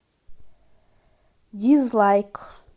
дизлайк